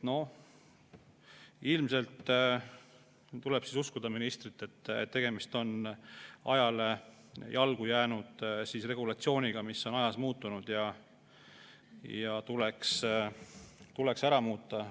No ilmselt tuleb uskuda ministrit, et tegemist on ajale jalgu jäänud regulatsiooniga, mis on ajas muutunud ja tuleks ära muuta.